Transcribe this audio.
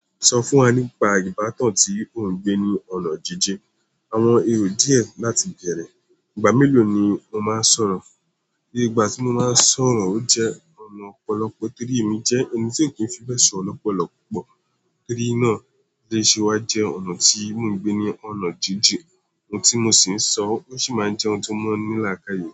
Sọ fún wa nípa ìbátan tí ò ń gbé ní ọ̀nà jíjin, àwọn èrò díè láti bẹ̀rẹ̀, ìgbà mélòó ni o máa ń sọ̀rọ̀? Iye ìgbà tí mo máa ń sọ̀rọ̀, ó jẹ́ ọ̀nà ọ̀pọ̀lọpọ̀ torí èmi jẹ́ ẹni tí ò kí ń fi bẹ́ẹ̀ sọ̀rọ̀ lọ́pọ̀lọpọ̀ púpọ̀. Torí náà, ó lè ṣe wá jẹ́ ọ̀nà tí mò ń gbé ní ọ̀nà jíjin. Ohun tí mo sì ń sọ, ó sì máa ń jẹ́ ohun tó mọ́ ní làákàyè.